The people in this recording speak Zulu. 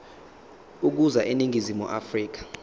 ukuza eningizimu afrika